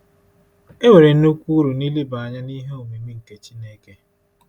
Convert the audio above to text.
E nwere nnukwu uru n’ileba anya n’“ihe omimi nke Chineke.”